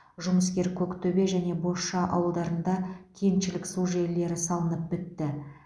жұмыскер көктөбе және бозша ауылдарында кеншілік су желілері салынып бітті